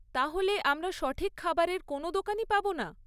তাহলে, আমরা সঠিক খাবারের কোনও দোকানই পাবো না?